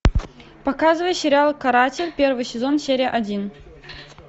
показывай сериал каратель первый сезон серия один